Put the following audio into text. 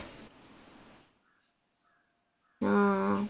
ആ